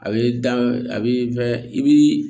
A b'i da a b'i i b'i